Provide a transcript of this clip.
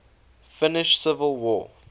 finnish civil war